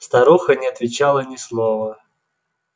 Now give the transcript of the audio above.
старуха не отвечала ни слова